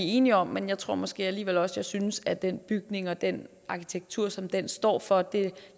enige om men jeg tror måske alligevel også jeg synes at den bygning og den arkitektur som den står for og det